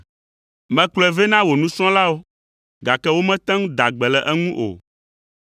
Mekplɔe vɛ na wò nusrɔ̃lawo, gake womete ŋu da gbe le eŋu o.”